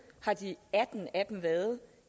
har de atten af dem været